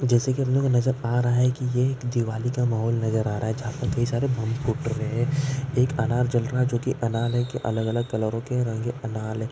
जैसे कि हमें नज़र आ रहा है कि एक दिवाली का माहौल नजर आ रहा है जहाँ कई सारे बम फूट रहे है एक अनार जल रहा है जो की अनार अलग-अलग कलोरों के रंग के अनार है।